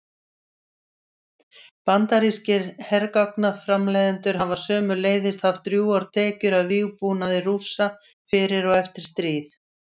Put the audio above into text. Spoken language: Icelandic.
Bandarískir hergagnaframleiðendur hafa sömuleiðis haft drjúgar tekjur af vígbúnaði Rússa fyrir og eftir stríð.